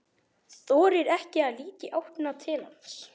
Þorir ekki að líta í áttina til hans.